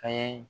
An ye